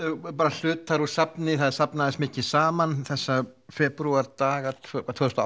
hlutar úr safni það safnaðist mikið saman þessa febrúardaga tvö þúsund og